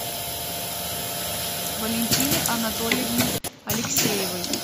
валентины анатольевны алексеевой